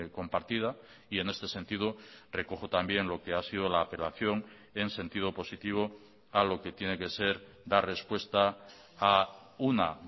compartida y en este sentido recojo también lo que ha sido la apelación en sentido positivo a lo que tiene que ser dar respuesta a una